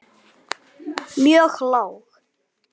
mjög lág.